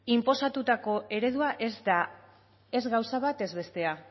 inposatutako eredua ez da ez gauza bat ez bestea